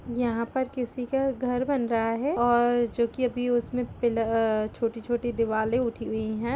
यहाँ पर किसी का घर बन रहा है और जो कि अभी उसमे पिलर अअ छोटी छोटी दीवालें उठी हुई है।